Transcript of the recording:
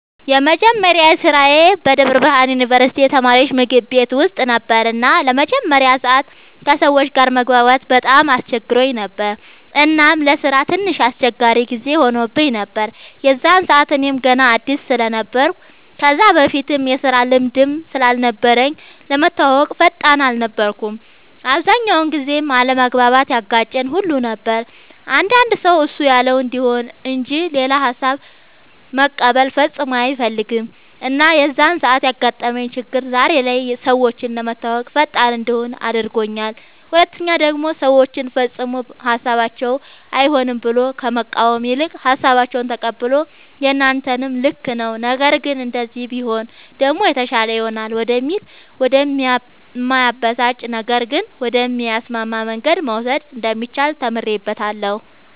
የመጀመሪያ ስራዬ በደብረ ብርሃን ዩንቨርስቲ የተማሪወች ምግብ ቤት ውስጥ ነበር እና ለመጀመሪያ ሰዓት ከሰወች ጋር መግባባት በጣም አስቸግሮኝ ነበር እናም ለስራም ትንሽ አስቸጋሪ ጊዜ ሆኖብኝ ነበር የዛን ሰዓት እኔም ገና አድስ ስለነበርኩ ከዛ በፊትም የስራ ልምድም ስላልነበረኝ ለመተወወቅም ፈጣን አልነበርኩም። አብዛኛውን ጊዜም አለመግባባት ያጋጨን ሁሉ ነበር አንዳንድ ሰው እሱ ያለው እንዲሆን እንጅ ሌላ ሃሳብ መቀበል ፈፅሞ አይፈልግም እና የዛን ሰዓት ያጋጠመኝ ችግር ዛሬ ላይ ሰወችን ለመተወወቅ ፈጣን እንድሆን አድርጎኛል ሁለተኛ ደሞ ሰወችን ፈፅሞ ሀሳባቸውን አይሆንም ብሎ ከመቃወም ይልቅ ሃሳባቸውን ተቀብሎ የናንተም ልክ ነዉ ነገር ግን እንደዚህ ቢሆን ደሞ የተሻለ ይሆናል ወደሚል ወደ እማያበሳጭ ነገር ግን ወደሚያስማማ መንገድ መውሰድ እንደሚቻል ተምሬበታለሁ።